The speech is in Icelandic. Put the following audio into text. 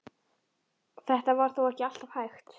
Þetta var þó ekki alltaf hægt.